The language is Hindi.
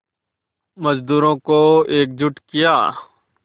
मज़दूरों को एकजुट किया